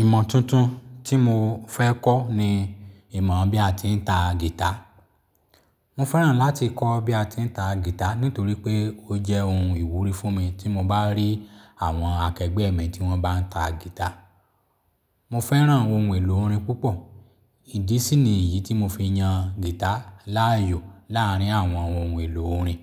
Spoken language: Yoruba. Ìmọ̀ tuntun tí mo fẹ́ kọ́ ni ìmọ̀ bí a ti ń ta guitar. Mo fẹ́ràn láti kọ́ bí a ti ń ta guitar nítorí pé ó jẹ́ ohun ìwúrí fún mi tí mo bá rí àwọn akẹgbẹ́ mi tí wọ́n bá ń ta guitar. Mo fẹ́ràn ohun èlò orin púpọ̀, ìdí sì ni èyí tí mo fi yan guitar láàyò láàrín àwọn ohun èlò orin.